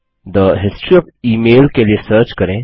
थे history of email के लिए सर्च करें